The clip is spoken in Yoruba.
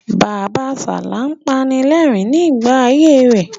Bàbasalá ń panilẹ́rìn-rín nígbà ayé fẹ.